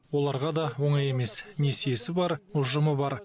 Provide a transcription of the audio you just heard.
оларға да оңай емес несиесі бар ұжымы бар